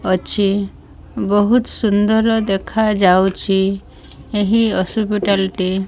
ଅଛି ବହୁତ୍ ସୁନ୍ଦର ଦେଖାଯାଉଛି ଏହି ହସିପିଟାଲ୍ ଟି।